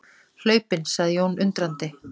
Hlaupinn, sagði Jón undrandi.